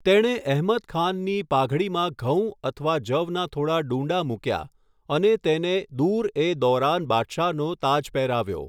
તેણે અહમદ ખાનની પાઘડીમાં ઘઉં અથવા જવના થોડા ડૂંડાં મૂક્યા અને તેને દુર એ દૌરાન બાદશાહનો તાજ પહેરાવ્યો.